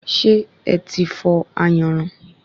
Ṣé eti fọ̀ ayanran?